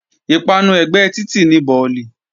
Ìpanu ẹ̀gbẹ́ títì ni bọ̀lì